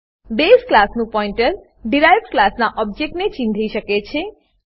base ક્લાસનું pointer derived ક્લાસનાં ઓબજેક્ટને ચીંધી શકે છે